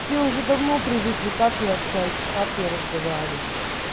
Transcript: все уже давно привыкли как я общаюсь и как я разговариваю